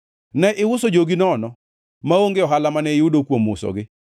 Ne iuso jogi nono maonge ohala mane iyudo kuom usogi.